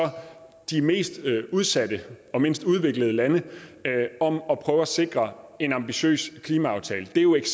de mest udsatte og mindst udviklede lande om at prøve at sikre en ambitiøs klimaaftale det er jo et